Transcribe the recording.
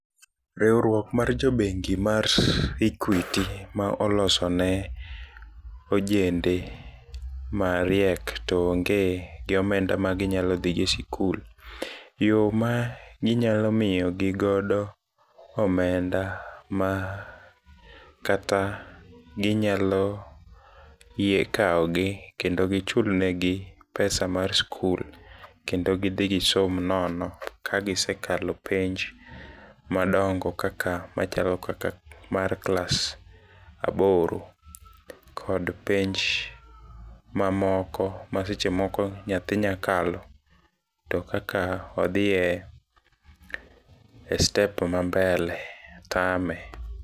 Riuruok mar jobengi mar Equity maolosone ojende mariek to onge gi omenda maginyalo dhi go e sikul ,yo ma ginyalo miyo gigodo omenda makata ginyalo yie kao gi kendo gichul negi pesa mar skul, kendo gidhi gisom nono kagisekalo penj madongo kaka machalo kaka mar class aboro, kod penj mamoko masechemoko nyathi nyakalo, to kaka odhie e step mambele tame.